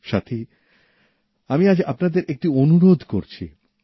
সাথী আমি আজ আপনাদের একটি অনুরোধ করছি